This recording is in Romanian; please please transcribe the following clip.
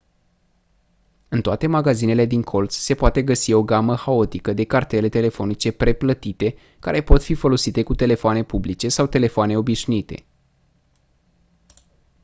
în toate magazinele din colț se poate găsi o gamă haotică de cartele telefonice preplătite care pot fi folosite cu telefoanele publice sau telefoanele obișnuite